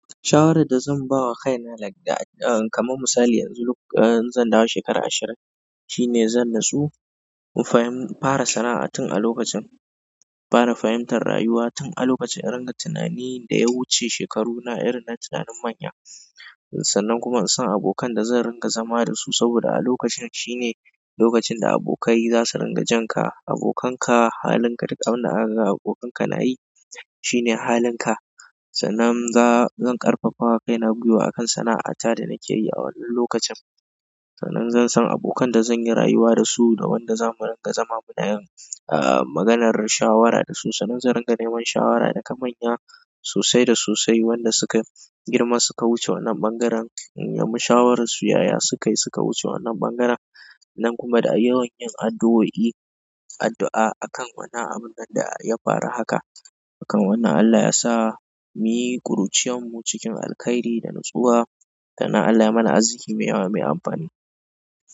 Shawaran da zan ba wa kaina like da, ah, kamar misali yanzu lok-- eh, zan dawo shekara ashirin, shine zan natsu. Fa in fara sana'a tun a lokacin, fara fahimtar rayuwa tun a lokacin, in ringa tunani da ya wuce shekaruna irin na tunanin manya. Sannan kuma in san abokan da zan ringa zama da su saboda a lokacin shine lokacin da abokai za su ringa jan ka. Abokanka halin ka duk abin da akaga abokanka na yi shine halin ka. Sannan zan ƙarfafa wa kaina gwiwa akan sana'ata da nake yi a wannan lokacin. Sannan zan san abokan da zan yi rayuwa da su da wanda za mu rinƙa zama muna yin, ah, maganar shawara da su. Sanin zan ringa neman shawara daga manya sosai da sosai wanda suka girma suka wuce wannan ɓangaren. Shawaran su yaya sukayi suka wuce wannan ɓangaren. Sannan kuma da yawan yin addu'o'i, addu'a akan wannan abun nan da ya faru haka. Akan wannan Allah yasa mu yi ƙuruciyar mu cikin alkhairi da natsuwa. Sannan Allah ya mana aziki mai yawa mai amfani.